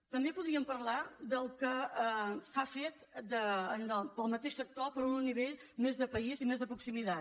també podríem parlar del que s’ha fet pel mateix sector però a un nivell més de país i més de proximitat